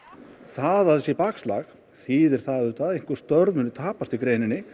það sé bakslag þýðir auðvitað að einhver störf muni tapast í greininni